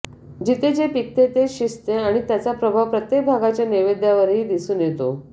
जिथे जे पिकते तेच शिजते आणि त्याचा प्रभाव प्रत्येक भागाच्या नैवेद्यावरही दिसून येतो